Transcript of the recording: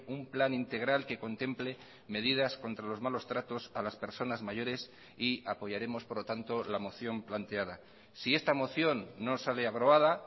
un plan integral que contemple medidas contra los malos tratos a las personas mayores y apoyaremos por lo tanto la moción planteada si esta moción no sale aprobada